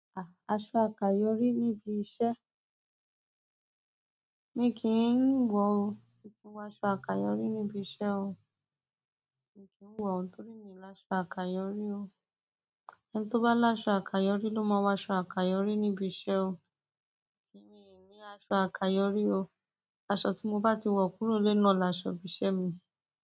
A-aṣọ àkayòrí níbi iṣẹ́. Mi kì í wọ̀ o. Mi ki ńnwọ aṣọ àkayòrí níbi iṣẹ́ o. Mi kì ń wọ̀ ó torí mi láṣọ àkayòrí o. Ẹni tó bá láṣọ àkayòrí ló máa wọ aṣọ àkayòrí níbi iṣẹ́ o. Èmi o ní aṣọ àkàyóri aṣọ tí mo bá ti wọ̀ kúrò nle náà laṣọ ibi iṣẹ́ mi.